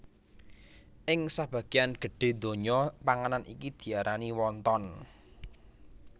Ing sabagéyan gedhé donya panganan iki diarani wonton